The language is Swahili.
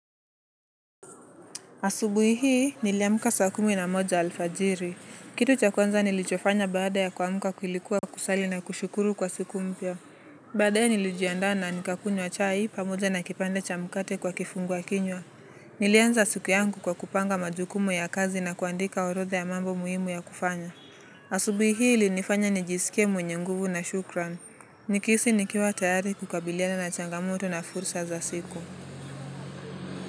Asubuhi hii niliamka sa kumi na moja alfajiri. Kitu cha kwanza nilichofanya baada ya kuamka kulikuwa kusali na kushukuru kwa siku mpya. Baadaye nilijiandaa na nikakunywa chai pamoja na kipande cha mkate kwa kifungua kinywa. Nilianza siku yangu kwa kupanga majukumu ya kazi na kuandika orodha ya mambo muhimu ya kufanya. Asubuhi hii ilinifanya nijisikie mwenye nguvu na shukran. Nikihisi nikiwa tayari kukabiliana na changamoto na fursa za siku.